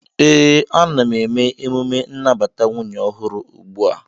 ee, ana m eme emume nnabata nwunye ọhụrụ ugbu a